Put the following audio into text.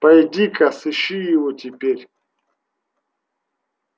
пойди-ка сыщи его теперь